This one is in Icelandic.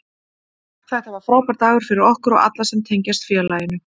Þetta var frábær dagur fyrir okkur og alla sem tengjast félaginu.